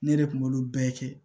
Ne de kun b'olu bɛɛ kɛ